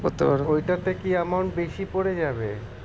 ওইটাতে কি amount বেশি পরে যাবে?